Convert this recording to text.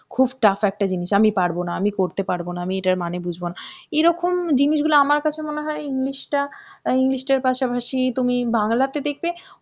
খুব tough একটা জিনিস, আমি পারব না, আমি করতে পারব না, আমি এটার মানে বুঝব না, এরকম জিনিসগুলো আমার কাছে মনে হয় English টা, English টার পাশাপাশি তুমি বাংলা তে দেখবে